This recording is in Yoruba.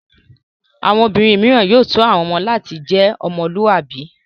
Àwọn obìnrin mìíràn yóò tọ́ àwọn ọmọ láti jẹ́ ọmọlúàbí.